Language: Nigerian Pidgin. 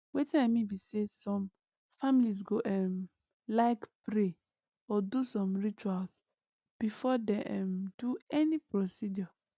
wetin i mean be say some families go um like pray or do some rituals before dem um do any procedure